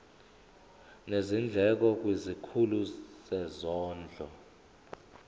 nezindleko kwisikhulu sezondlo